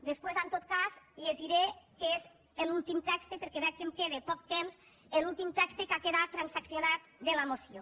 després en tot cas el llegiré el que és l’últim text perquè veig que em queda poc temps que ha quedat transaccionat de la moció